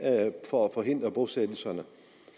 for at forhindre bosættelserne